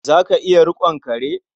Za ka iya riƙon kare?